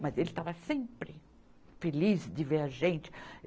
Mas ele estava sempre feliz de ver a gente.